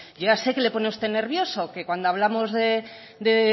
yo ya sé que le pone a usted nervioso que cuando hablamos de